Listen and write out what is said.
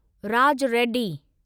Raj Reddy